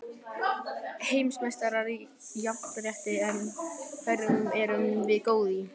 Heimsmeistarar í jafnrétti En hverju erum við góð í?